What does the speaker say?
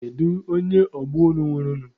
Kedu onye ọgbọ unu nwụrụ nụ?